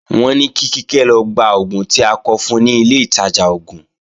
Wọ́n ní kí Kíkẹ́ lọ gba oògùn tí a kọ fun ni ilé ìtajà oògùn